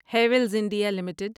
Havells India limited